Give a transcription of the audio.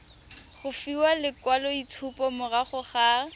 go fiwa lekwaloitshupo morago ga